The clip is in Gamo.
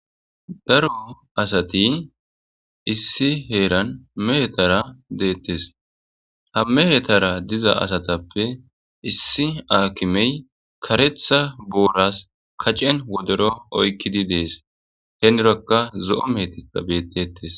daro asati issi heeran mehetara deettes ha mehetara diza asatappe issi aakimey karetha boolas kacen wodero oykkidi dees henirakka zo7o metikka bettetes